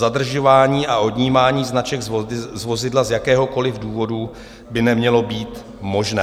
Zadržování a odnímání značek z vozidla z jakéhokoliv důvodu by nemělo být možné.